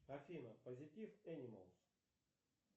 афина позитив энималс